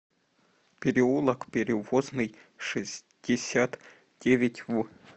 переулок перевозный шестьдесят девять в